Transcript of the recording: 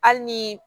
Hali ni